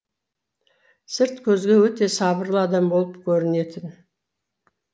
сырт көзге өте сабырлы адам болып көрінетін